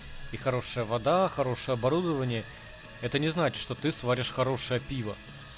и хорошая вода хорошая оборудование это не значит что ты сваришь хорошее пиво